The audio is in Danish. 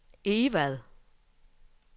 Egvad